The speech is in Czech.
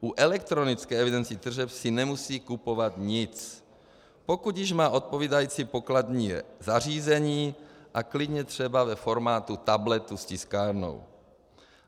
U elektronické evidence tržeb si nemusí kupovat nic, pokud již má odpovídající pokladní zařízení, a klidně třeba ve formátu tabletu s tiskárnou.